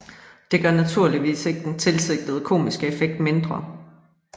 Det gør naturligvis ikke den tilsigtede komiske effekt mindre